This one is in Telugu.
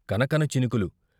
కనకన చినుకులు.